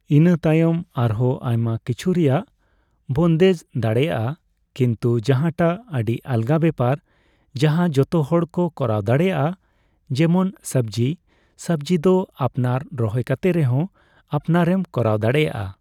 ᱤᱱᱟᱹ ᱛᱟᱭᱚᱢ ᱟᱨᱦᱚᱸ ᱟᱭᱢᱟ ᱠᱤᱪᱷᱩ ᱨᱮᱭᱟᱜ ᱵᱳᱱᱫᱮᱡ ᱫᱟᱲᱮᱭᱟᱜᱼᱟ᱾ ᱠᱤᱱᱛᱩ ᱡᱟᱦᱟᱸᱴᱟᱜ ᱟᱹᱰᱤ ᱟᱞᱜᱟ ᱵᱮᱯᱟᱨ , ᱡᱟᱦᱟᱸ ᱡᱚᱛᱚ ᱦᱚᱲ ᱠᱚ ᱠᱚᱨᱟᱣ ᱫᱟᱲᱮᱭᱟᱜ ᱾ ᱡᱮᱢᱚᱱ ᱥᱚᱵᱡᱤ, ᱥᱚᱵᱡᱤ ᱫᱚ ᱟᱯᱱᱟᱨ ᱨᱚᱦᱚᱭ ᱠᱟᱛᱮ ᱨᱮᱦᱚᱸ ᱟᱯᱱᱟᱨᱮᱢ ᱠᱚᱨᱟᱣ ᱫᱟᱲᱮᱭᱟᱜᱼᱟ᱾